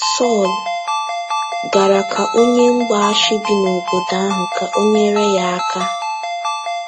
Sọl gara ka onye mgbaasị bi n'obodo ahụ ka ọ nyere ya aka.